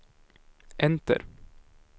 enter